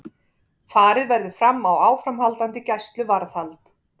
Farið verður fram á áframhaldandi gæsluvarðhald